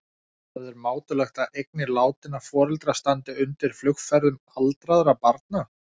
Það er mátulegt að eignir látinna foreldra standi undir flugferðum aldraðra barna.